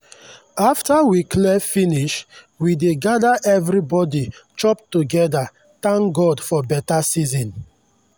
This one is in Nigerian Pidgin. after we clear finish we dey gather everybody chop together thank god for better season.